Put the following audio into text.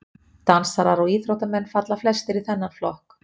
Dansarar og íþróttamenn falla flestir í þennan flokk.